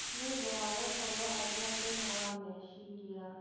Nĩ ũndũ wa gũkorũo arĩ na thĩna wa meciria.